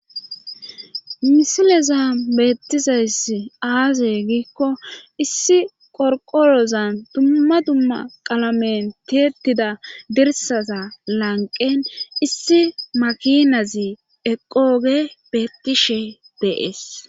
misileza beettizayss aaze giikko issi qorqolozan dumma dumma qalamen tietida dirsaza lanqen issi makinazi eqooge bettishe beees